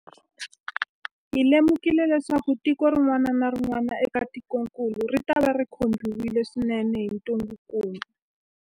Hi lemukile leswaku tiko rin'wana na rin'wana eka tikokulu ritava ri khumbiwile swinene hi ntungukulu.